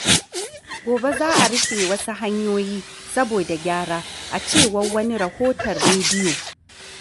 Gobe za a rufe wasu hanyoyi saboda gyara, a cewar wani rahoton rediyo.